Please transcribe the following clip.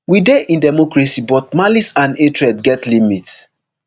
we dey in democracy but malice and hatred get limit